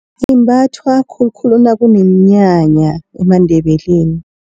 Imbathwa khulukhulu nakunomnyanya emaNdebeleni.